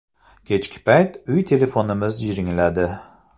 Kechki payt uy telefonimiz jiringladi.